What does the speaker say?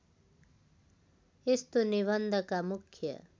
यस्तो निबन्धका मुख्य